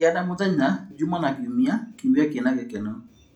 Gĩa na mũthenya Juma na Kiumia kĩumia kĩna gĩkeno.